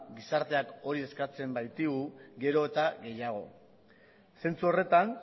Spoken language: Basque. gizarteak hori eskatzen baitigu gero eta gehiago zentzu horretan